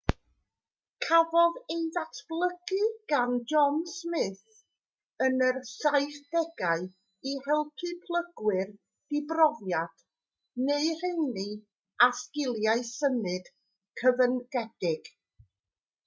cafodd ei ddatblygu gan john smith yn yr 1970au i helpu plygwyr dibrofiad neu'r rheiny â sgiliau symud cyfyngedig